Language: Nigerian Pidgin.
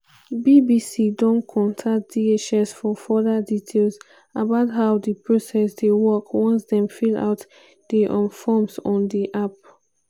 bbc don contact dhs for further details about how di process dey works once dem fill out di um forms on di app.